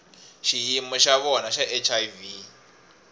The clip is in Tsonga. xiyimo xa vona xa hiv